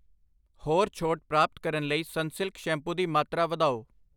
ਹੋਰ ਛੋਟ ਪ੍ਰਾਪਤ ਕਰਨ ਲਈ ਸਨਸਿਲਕ ਸ਼ੈਂਪੂ ਦੀ ਮਾਤਰਾ ਵਧਾਓ